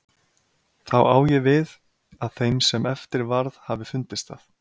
Þá á ég við, að þeim sem eftir varð hafi fundist það.